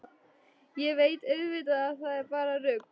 Ég veit auðvitað að það er bara rugl.